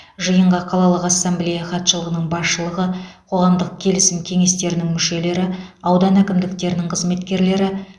жиынға қалалық ассамблея хатшылығының басшылығы қоғамдық келісім кеңестерінің мүшелері аудан әкімдіктерінің қызметкерлері